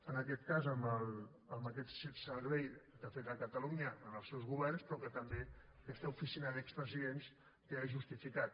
en aquest cas amb aquest servei que ha fet a catalunya en els seus governs però que també aquesta oficina d’expresidents queda justificat